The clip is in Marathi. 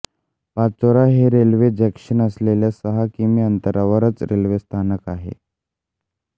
पाचोरा हे रेल्वेचे जंक्शन असल्याने सहा किमी अंतरावरच रेल्वे स्थानक आहे